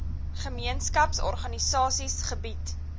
gemeenskaps organisasies gebied